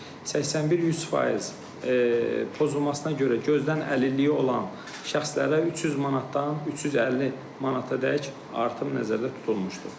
81-100% pozulmasına görə gözdən əlilliyi olan şəxslərə 300 manatdan 350 manatadək artım nəzərdə tutulmuşdur.